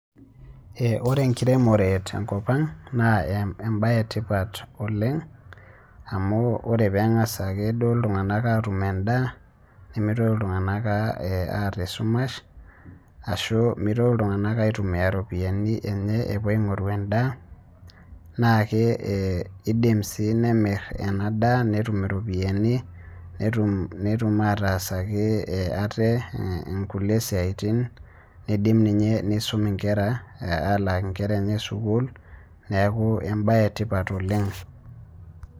oree nkiremoree te nkopang naa embai ee tipat oleng amu oree pengas ake duo ltunganak atum ndaa nemeitokii ltunganak aata ee sumash ashuu meitoki ltunganak aitumia ropiyanii enchee epuo ainguruu ee ndaa naa keidim sii nemir anaa daah notum ropiyanii notum ataasakii atee nkulie siatin neidim ninyee neisum ee nkeraa alaaki nkeraa enchee sukuul naaku embai etipat oleng